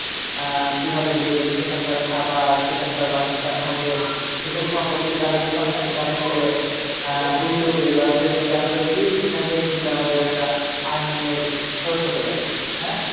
আহ কীভাবে গেলে সেখানে তারা খাবার সেখানে তারা বাসস্থান hotel content collect করে আহ Youtube এ বা Facebook এ upload দিয়ে সেখান থেকে কিন্তু আমাদের একটা earning এর source হতে পারে হ্যাঁ?